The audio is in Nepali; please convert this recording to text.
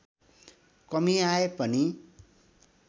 कमी आए पनि